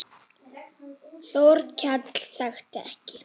Þórkell þekkti ekki.